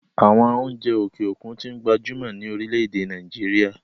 àwọn oúnjẹ òkè òkun tí ń gbajúmọ̀ ní orílẹ-èdè nàìjíría